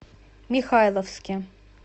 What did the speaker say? михайловске